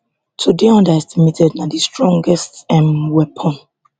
to dey underestimated na di strongest um weapon